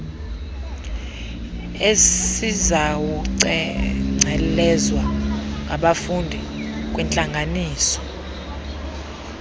esizawucengcelezwa ngabafundi kwiintlanganisela